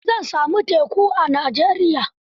A ina zan sami teku a Najeriya?